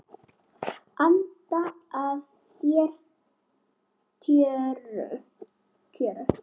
Anda að sér tjöru.